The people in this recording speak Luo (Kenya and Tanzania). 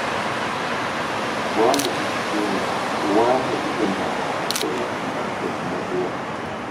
waonge gi chiemo, waonge gi gimoro, en chandruok maduong’.